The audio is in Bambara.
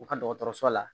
U ka dɔgɔtɔrɔso la